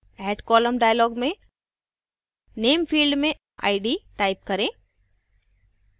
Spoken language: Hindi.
add column dialog में name field में id type करें